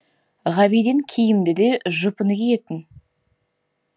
ғабиден киімді де жұпыны киетін